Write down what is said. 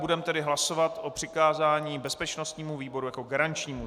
Budeme tedy hlasovat o přikázání bezpečnostnímu výboru jako garančnímu.